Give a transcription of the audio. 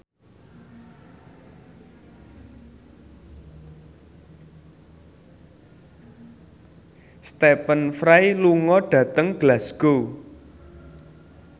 Stephen Fry lunga dhateng Glasgow